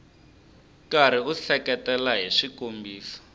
karhi u seketela hi swikombiso